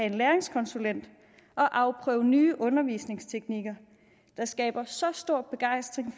en læringskonsulent og afprøve nye undervisningsteknikker der skaber så stor begejstring